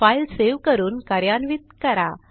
file save करून कार्यान्वित करा